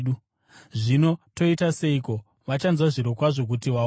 Zvino toita seiko? Vachanzwa zvirokwazvo kuti wauya,